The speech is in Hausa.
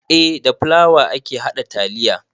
Eh da fulawa ake haɗa taliya